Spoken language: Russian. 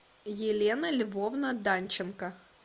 елена львовна данченко